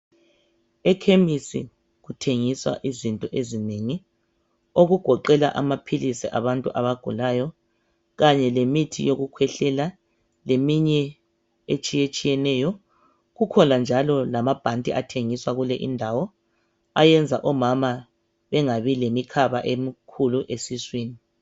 Ekhemesi kuthengiswa izinto ezinengi okugoqela amaphilisi abantu abagulayo kanye lemithi yokukhwehlela leminye etshiye tshiyeneyo kukhona njalo lamabhanti athengiswa kule indawo ayenza omama bengabi lemikhaba emikhulu esiswini.